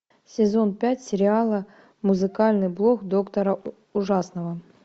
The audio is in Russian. сезон пять сериала музыкальный блок доктора ужасного